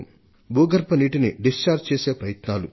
భూగర్భ నీటిని పూర్తిగా వాడుకోవడం కోసం చేసే ప్రయత్నాలు